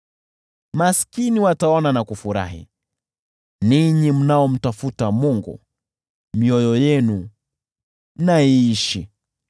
Maskini wataona na kufurahi: ninyi mnaomtafuta Mungu, mioyo yenu na iishi!